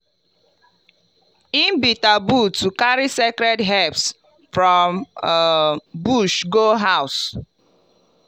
e be taboo to carry sacred herbs from um bush go house.